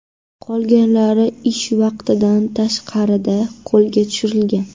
Qolganlari ish vaqtidan tashqarida qo‘lga tushirilgan.